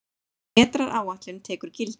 Vetraráætlun tekur gildi